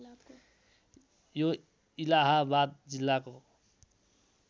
यो इलाहाबाद जिल्लाको